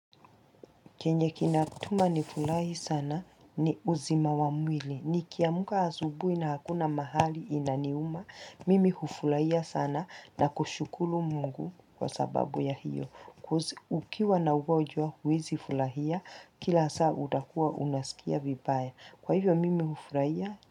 Chenye kinatuma nifurahi sana ni uzima wa mwili, nikiamka asubuhi na hakuna mahali inaniuma, mimi hufurahia sana na kushukuru mungu kwa sababu ya hiyo, coz ukiwa na ugonjwaa huwezi furahia, kila saa utakuwa unasikia vibaya, kwa hivyo mimi hufurahia,